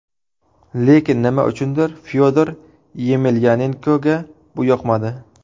Lekin nima uchundir Fyodor Yemelyanenkoga bu yoqmadi.